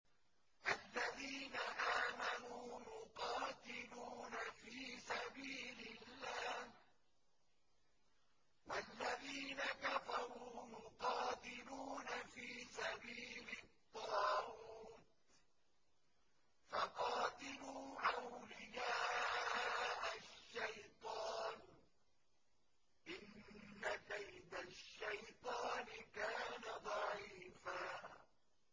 الَّذِينَ آمَنُوا يُقَاتِلُونَ فِي سَبِيلِ اللَّهِ ۖ وَالَّذِينَ كَفَرُوا يُقَاتِلُونَ فِي سَبِيلِ الطَّاغُوتِ فَقَاتِلُوا أَوْلِيَاءَ الشَّيْطَانِ ۖ إِنَّ كَيْدَ الشَّيْطَانِ كَانَ ضَعِيفًا